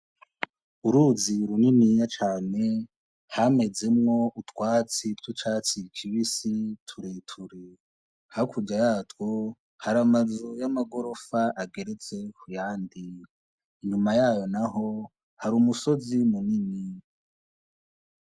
Uruzi runini ya cane hamezemwo utwatsi wucaciikibisi tureture hakuja yatwu hari amazu y'amagorofa agerezse huyandi inyuma yayo na ho hari umusozi munini.